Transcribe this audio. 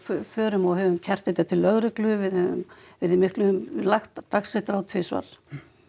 förum og höfum kært þetta til lögreglu við höfum verið í miklum lagt á dagsektir tvisvar